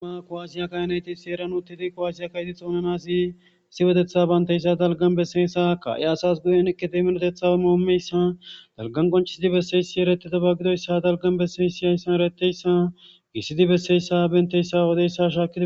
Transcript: ma kowaasiya kaynayti seeran uttidi kowaasiya kayti xoonanasi issi wodetha baynteyssa dalgan besseyessa ka7i asas guyen ekideminotetha moomeyssa dalgan qonchisidi besseyssi eretita bagidoyssa dalgan bessey si yayssan ereteyssa gissidi besseyssa benteyssa wodeyssa shaaid